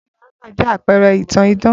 Cinderella jẹ́ àpẹrẹ ìtàn idán